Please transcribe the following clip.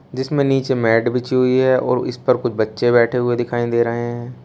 जिसमें नीचे मैट बिछी हुई है और इस पर कुछ बच्चे बैठे हुए दिखाई दे रहे हैं।